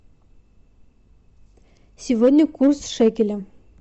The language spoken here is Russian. сегодня курс шекеля